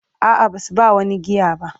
A'a, ba su ba wani giya ba.